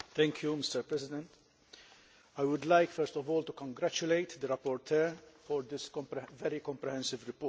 Mr President, I would like first of all to congratulate the rapporteur for this very comprehensive report.